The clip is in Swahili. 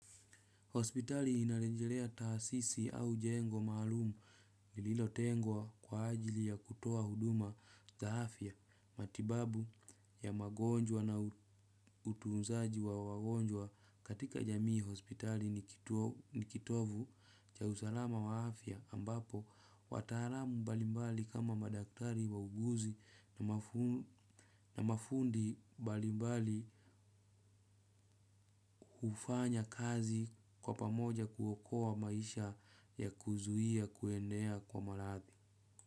Hospitali inarejelea taasisi au jengo maalum lililotengwa kwa ajili ya kutoa huduma za afya matibabu ya magonjwa na utunzaji wa wagonjwa katika jamii hospitali. Ni kitovu, cha usalama wa afya ambapo wataalamu mbalimbali kama madaktari wauguzi na mafundi mbali mbali hufanya kazi kwa pamoja kuokoa maisha ya kuzuia kuenea kwa marathi.